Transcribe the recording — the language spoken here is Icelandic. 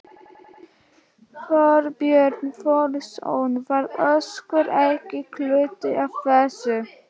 Þorbjörn Þórðarson: Var Össur ekki hluti af þessu?